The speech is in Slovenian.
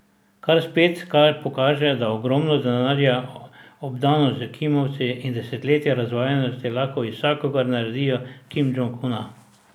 Kar spet pokaže, da ogromno denarja, obdanost s kimavci in desetletja razvajenosti lahko iz vsakogar naredijo Kim Džong Una.